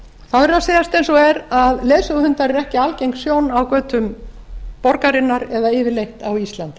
að segjast eins og er að leiðsöguhundar eru ekki algeng sjón á götum borgarinnar eða yfirleitt á íslandi